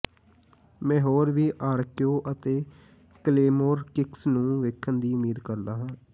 ਮੈਂ ਹੋਰ ਵੀ ਆਰ ਕੇਓ ਅਤੇ ਕਲੇਮੋਰ ਕਿੱਕਸ ਨੂੰ ਵੇਖਣ ਦੀ ਉਮੀਦ ਕਰਦਾ ਹਾਂ